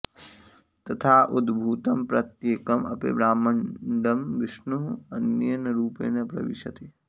तथा उद्भूतं प्रत्येकम् अपि ब्रह्माण्डं विष्णुः अन्येन रूपेण प्रविशति